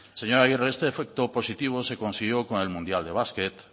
señora agirre este efecto positivo se consiguió con el mundial de basket